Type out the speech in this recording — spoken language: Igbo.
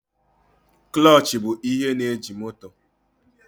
Kụlọchị bụ ihe na-eji moto.